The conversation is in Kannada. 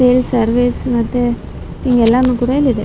ಸೇಲ್ ಸರ್ವಿಸ್ ಮತ್ತೆ ಎಲ್ಲಾನು ಕೂಡ ಇಲ್ಲಿದೆ .